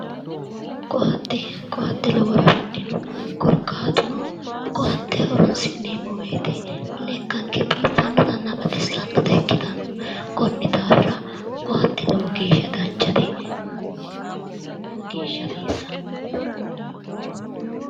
koatte koatte lowo horo afidhino korkaatuno koatte horonsi'neemmo wote lekkanke biiffannotanna baxissannota ikkitanno konni daafira koatte lowo geeshsha danchate koatte wodha lowo geeshsha hasiissanno.